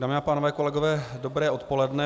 Dámy a pánové, kolegové, dobré odpoledne.